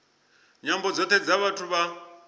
nyambo dzothe dza vhathu vha